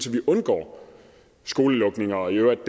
vi undgår skolelukninger og i øvrigt